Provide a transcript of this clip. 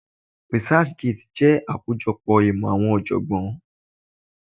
Researchgate jẹ́ akojopo imo àwọn ojogbon.